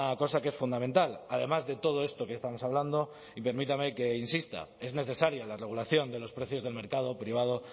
cosa que es fundamental además de todo esto que estamos hablando y permítame que insista es necesaria la regulación de los precios del mercado privado